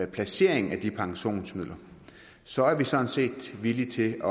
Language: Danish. placeringen af de pensionsmidler så er vi sådan set villige til